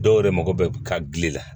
Dɔw yɛrɛ mako bɛ ka gili la